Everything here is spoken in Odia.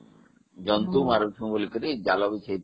ଜନ୍ତୁ ମାରିବୁ ବୋଲି ଜାଲ ବିଛେଇଥିଲୁ